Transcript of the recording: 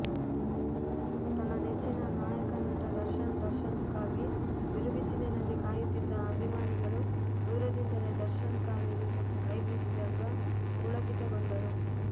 ತನ್ನ ನೆಚ್ಚಿನ ನಾಯಕನಟ ದರ್ಶನ್ ದರ್ಶನಕ್ಕಾಗಿ ಬಿರುಬಿಸಿಲಿನಲ್ಲಿ ಕಾಯುತ್ತಿದ್ದ ಅಭಿಮಾನಿಗಳು ದೂರದಿಂದಲೇ ದರ್ಶನ್ ಕಾರ್ ಇಳಿದು ಕೈಬೀಸಿದಾಗ ಪುಳಕಿತಗೊಂಡರು